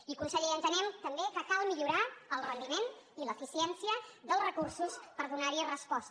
i conseller entenem també que cal millorar el rendiment i l’eficiència dels recursos per donar hi resposta